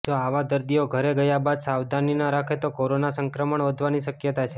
જો આવા દર્દીઓ ઘરે ગયા બાદ સાવધાની ન રાખે તો કોરોના સંક્રમણ વધવાની શક્યતા છે